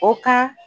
O ka